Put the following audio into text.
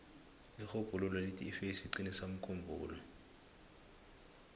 irhubhululo lithi ifesi iqinisa umkhumbulo